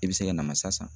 I bɛ se ka namasa san